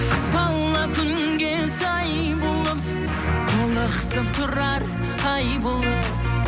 қыз бала күнге сай болып толықсып тұрар ай болып